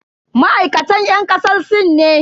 Ma'aikatan yan kasar sin ne?